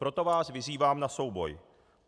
Proto vás vyzývám na souboj.